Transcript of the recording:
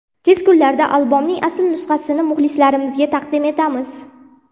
Tez kunlarda albomning asl nusxasini muxlislarimizga taqdim etamiz.